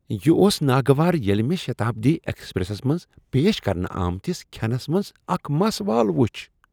یہ اوس ناگوار ییٚلہ مےٚ شتابدی ایکسپریسس منٛز پیش کرنہٕ آمتس کھینس منٛز اکھ مس وال وُچھ۔